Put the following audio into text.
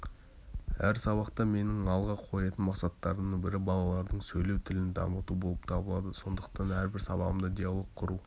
әр сабақта менің алға қоятын мақсаттарымның бірі балалардың сөйлеу тілін дамыту болып табылады сондықтан әрбір сабағымда диалог құру